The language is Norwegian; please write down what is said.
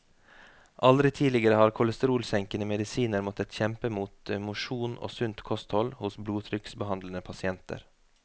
Aldri tidligere har kolesterolsenkende medisiner måttet kjempe mot mosjon og sunt kosthold hos blodtrykksbehandlede pasienter.